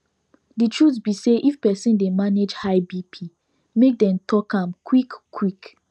the truth be say if persin dey manage high bp make dem talk am qik qik